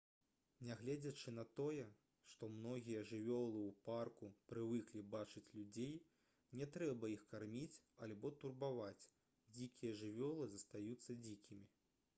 нягледзячы на тое што многія жывёлы ў парку прывыклі бачыць людзей не трэба іх карміць альбо турбаваць дзікія жывёлы застаюцца дзікімі